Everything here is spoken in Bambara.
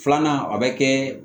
Filanan a bɛ kɛ